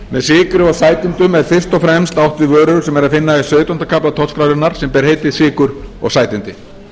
með sykri og sætindum er fyrst og fremst átt við vörur sem er að finna í sautjánda kafla tollskrárinnar sem ber heitið sykur og sætindi